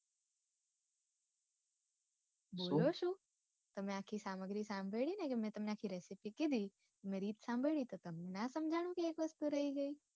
બોલો સુ તમે આખી સામગ્રી સાંભળી ને કે મેં તમને આખી recipe કીધી તમે રીત સાંભળી તો તમને ના સમજાનું કે એક વસ્તુ રઈ ગઈ.